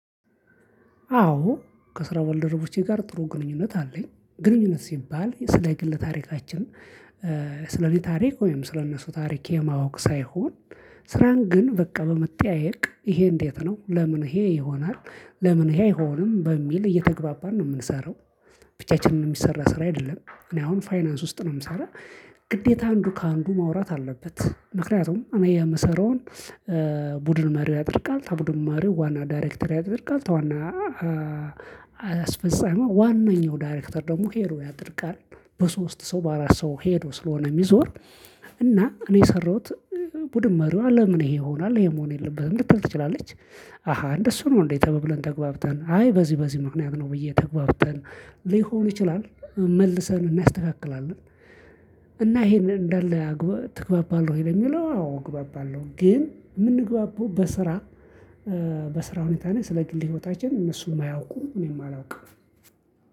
አዎ ከስራ ባልደረቦቼ ጋር ጥሩ ግንኙነት አለኝ ግንኙነት ሲባል ስለ ግል ታሪካችን። ስለኔ ታሪክ ወይም ስለነሱ ታሪክ የማወቅ ሳይሆን። ስራን ግን በቃ በመጠያየቅ ይሄ እንዴት ነው ለምን ይሄ ይሆናል? ለምን ይሄ አይሆንም በሚል እየተግባባን ነው የምንሰራው። ብቻችንን የሚሰራ ስራ አይደለም። እኔ አሁን ፋይናንስ ውስጥ ነው የምሰራው። ግዴታ አንዱ ከአንዱ ማውራት አለበት። ምክንያቱም እኔ የምሰራውን ቡድን መሪው ያደርጋል ተቡድን መሪው ዋና ዳይሬክተር ያደርጋል ተዋና አስፈጻሚው ዋነኛው ዳይሬክተር ደግሞ ሄዶ ያደርጋል። በሶስት ሰው በአራት ሰው ሄዶ ስለሆነ የሚዞር። እና እኔ የሰራሁት ቡድን መሪዋ ለምን ይሄ ይሆናል ይሄ መሆን የለበትም ልትል ትችላለች? አሃ እንደሱ ነው እንዴ ተባብለን ተግባብተን አይ በዚህ በዚህ ምክንያት ነው ብዬ ተግባብተን ሊሆን ይችላል። መልሰን እናስተካክላለን። እና ይሄንን እንዳለ ትግባባለህ ወይ? ለሚለው አዎ እግባባለሁ ግን ምንግባባው በስራ። በስራ ሁኔታ ነው ስለ ግል ህይወታችን እነሱም አያውቁም እኔም አላውቅም።